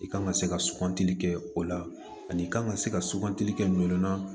I kan ka se ka sugantili kɛ o la ani i kan ka se ka sugantili kɛ ɲɔ na